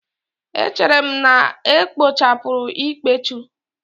Echere m na ekpochapụrụ ikpechu